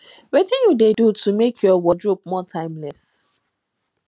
wetin you dey do to make your wardrobe more timeless